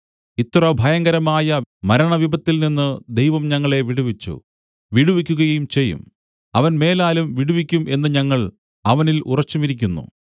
ഇത്ര ഭയങ്കരമായ മരണവിപത്തിൽ നിന്ന് ദൈവം ഞങ്ങളെ വിടുവിച്ചു വിടുവിക്കുകയും ചെയ്യും അവൻ മേലാലും വിടുവിക്കും എന്ന് ഞങ്ങൾ അവനിൽ ഉറച്ചുമിരിക്കുന്നു